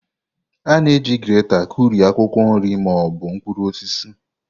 A na-eji greta kụrie akwụkwọ nri ma ọ bụ mkpụrụ osisi.